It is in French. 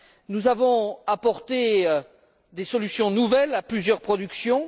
Nous avons apporté des solutions nouvelles à plusieurs productions.